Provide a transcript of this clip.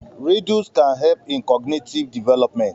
Riddles can help in cognitive development